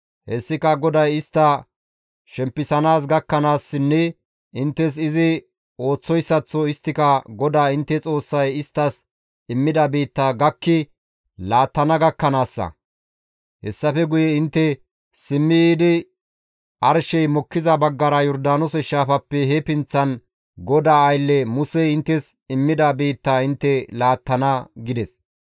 Hessika GODAY istta shempisana gakkanaassinne inttes izi ooththoyssaththo isttika GODAA intte Xoossay isttas immida biittaa gakki laattana gakkanaassa; hessafe guye intte simmi yiidi arshey mokkiza baggara Yordaanoose shaafappe he pinththan GODAA aylle Musey inttes immida biittaa intte laattana» gides.